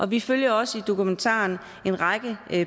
vi følger også i dokumentaren en række